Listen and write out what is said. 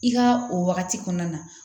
I ka o wagati kɔnɔna na